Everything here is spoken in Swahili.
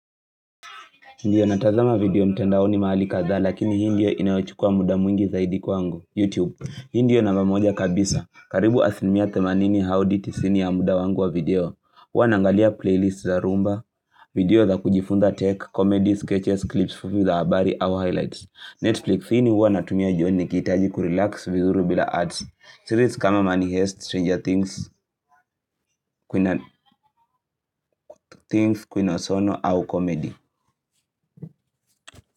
Ndiyo natazama video mtandaoni mahali kadha lakini hii ndiyo inayochukua muda mwingi zaidi kuu wangu, YouTube. Hii ndiyo namba moja kabisa. Karibu asilimia themani au hadi tisini ya muda wangu wa video. Huwa naangalia playlist za rumba, video za kujifunza tech, comedies, sketches, clips, fupi za habari, au highlights. Netflix hii ni huwa natumia jioni nikihitaji kurelax vizuri bila ads. Series kama money heist, stranger things, things, queen of sono, au comedy.